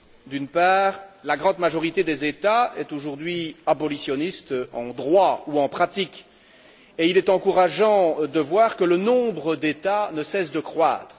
D'une part, la grande majorité des États est aujourd'hui abolitionniste, en droit ou en pratique, et il est encourageant de voir que ce nombre d'États ne cesse de croître.